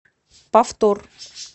повтор